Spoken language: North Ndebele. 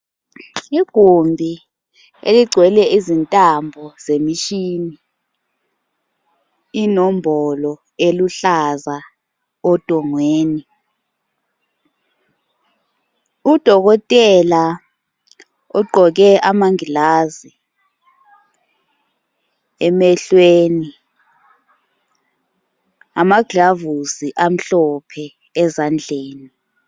Igumbi eligcwele izintambo zemishini, inombolo eluhlaza odongweni, Udokotela ugqoke amangilazi emehlweni lama glavusi amhlophe ezandleni